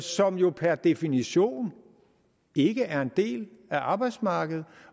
som jo per definition ikke er en del af arbejdsmarkedet